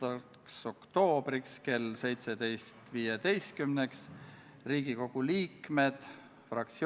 Eelnõu alusel otsustatakse kuni viie kaitseväelase osalemise jätkamine NATO missioonil NMI Iraagis.